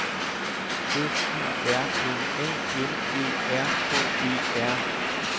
F I R M A M Æ R K E R